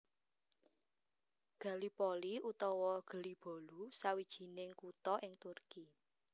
Gallipoli utawa Gelibolu sawijining kutha ing Turki